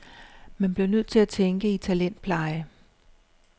Man bliver nødt til at tænke i talentpleje.